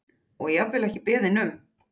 Og jafnvel ekki beðinn um.